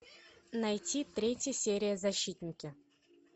найти третья серия защитники